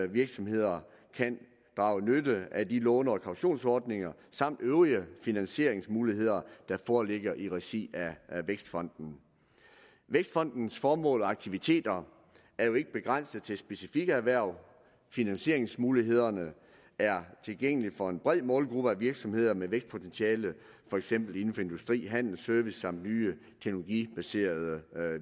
virksomheder kan drage nytte af de låne og kautionsordninger samt øvrige finansieringsmuligheder der foreligger i regi af vækstfonden vækstfondens formål og aktiviteter er jo ikke begrænset til specifikke erhverv finansieringsmulighederne er tilgængelige for en bred målgruppe af virksomheder med vækstpotentiale for eksempel inden for industri handel og service og nye teknologibaserede